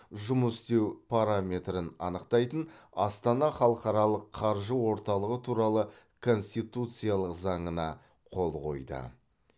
жұмыс істеу параметрін анықтайтын астана халықаралық қаржы орталығы туралы конституциялық заңына қол қойды